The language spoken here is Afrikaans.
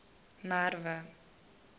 merwe